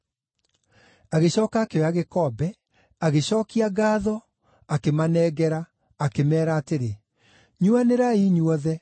Agĩcooka akĩoya gĩkombe, agĩcookia ngaatho, akĩmanengera, akĩmeera atĩrĩ, “Nyuanĩrai inyuothe.